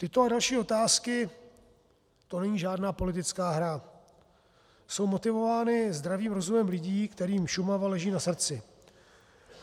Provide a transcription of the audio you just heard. Tyto a další otázky, to není žádná politická hra, jsou motivovány zdravým rozumem lidí, kterým Šumava leží na srdci.